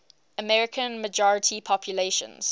american majority populations